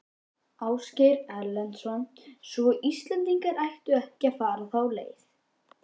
Ásgeir Erlendsson: Svo Íslendingar ættu ekki að fara þá leið?